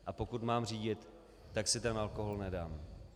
A pokud mám řídit, tak si ten alkohol nedám.